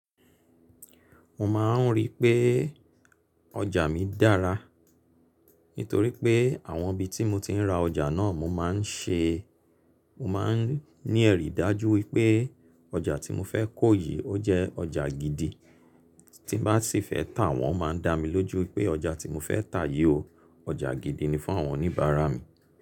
Mo ma n rí pé ọjà mi dára nítorí pé àwọn ibi tí mo ti n ra ọjà náà mo má n ṣe, mo má n ní ẹ̀rí dájú wípé ọjà tí mo fẹ́ kó yìí ó jẹ́ ọjà gidi tí bá sì fẹ́ tà wọ́n má n dá mi lójú wípé ọjà tí mo fẹ́ tà yìí o, ọjà gidi ni fún àwọn oníbàárà mi.